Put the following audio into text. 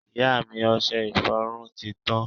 ìyá mi, ọsẹ ìfọrún ti tan